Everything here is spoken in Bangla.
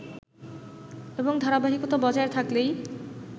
এবং ধারাবাহিকতা বজায় থাকলেই